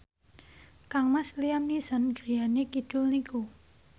kangmas Liam Neeson griyane kidul niku